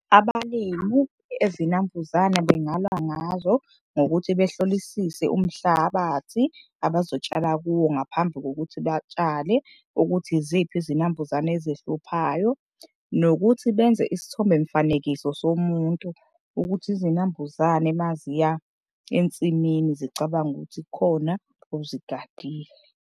Abalimu ezinambuzane bengalwa ngazo ngokuthi behlolisise umhlabathi abazotshala kuwo ngaphambi kokuthi batshale ukuthi yiziphi izinambuzane ezihluphayo. Nokuthi benze isithombemfanekiso somuntu ukuthi izinambuzane maziya ensimini zicabange ukuthi kukhona ozigadile.